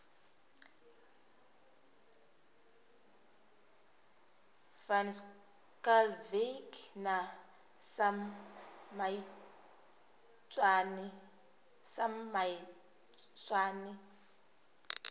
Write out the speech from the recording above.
van schalkwyk na sam maitswane